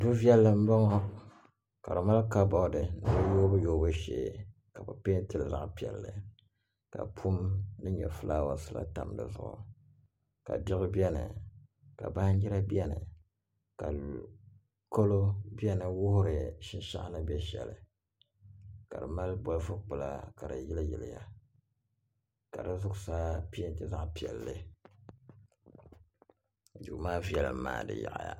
Du' viɛlli m-bɔŋɔ ka di mali ka boori ni di yoobuyoobu shee ka bɛ peentili zaɣipiɛlli ka pum din nyɛ fulaawasila tam di zuɣu ka diɣi be ni ka banjira be ni ka kalo be ni n-wuhiri shinshɛɣu ni be shɛli ka di mali bolifu kpula ka di yili yiliya ka di zuɣusaa peenti zaɣipiɛlli duu maa viɛlm maa di yaɣiya